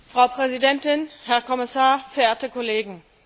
Frau Präsidentin, Herr Kommissar, verehrte Kollegen!